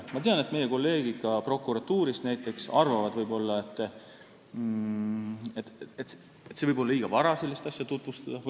Ma tean, et ka näiteks meie kolleegid prokuratuurist arvavad, et praegu võib olla liiga vara sellist asja tutvustada.